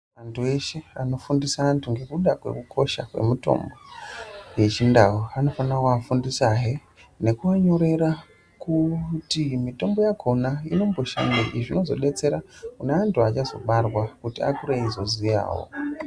Andu eshe anofundisa andu nekuda kwekukosha kemitombo yechindau anofana kuvafundisa he nekuvanyorera kuti mitombo yakona inomboshandei zvinozobetsera kune vandu vachazobarwa kuti akure eizoziyawo.